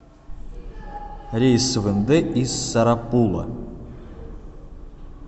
рейс в индэ из сарапула